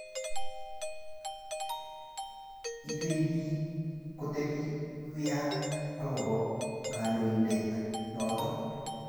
iywei biik kotebi wian agoba kandoitindet noto